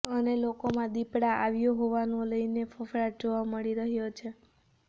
અને લોકોમાં દીપડા આવ્યો હોવાને લઈને ફફડાટ જોવા મળી રહ્યો છે